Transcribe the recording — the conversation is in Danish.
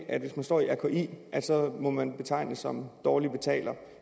at hvis man står i rki må man betegnes som dårlig betaler